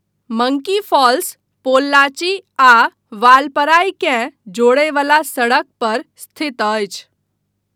Monkey Falls Pollachi आ वालपराइ केँ जोड़य वला सड़क पर स्थित अछि।